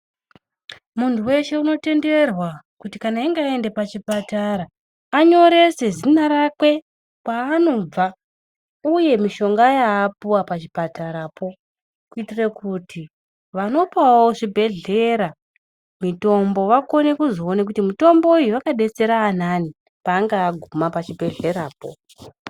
Muntu weshe unotenderwa kuti kana eyinga ayenda pachipatara, anyorese zina rakwe, kwanobva , uye mishonga ya apuwa pachipatara po, kuyitire kuti vanopawo zvibhedhlera mitombo, vakone kuzowone kuti mitomboyo yakadetsera vanani pangaguma pachibhedhlera po.